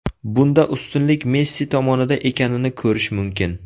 Bunda ustunlik Messi tomonida ekanini ko‘rish mumkin.